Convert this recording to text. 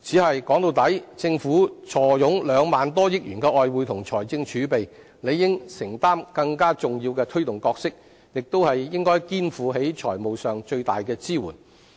但說到底，政府坐擁兩萬多億元的外匯及財政儲備，理應承擔更重要的推動角色，亦應肩負起財務上的最大支援。